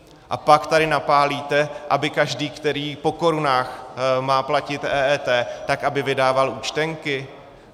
A pak tady napálíte, aby každý, který po korunách má platit EET, tak aby vydával účtenky?